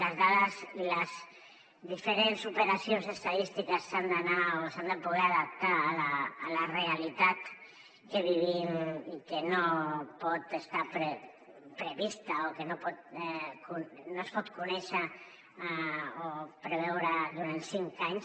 les dades i les diferents operacions estadístiques s’han de poder adaptar a la realitat que vivim i no pot estar prevista o no es pot conèixer o preveure durant cinc anys